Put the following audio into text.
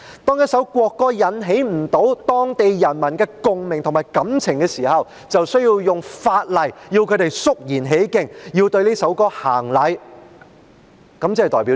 當一首國歌不能引起當地人民的共鳴和感情，便以法例要求他們肅然起敬，對這首歌曲行禮，這代表甚麼？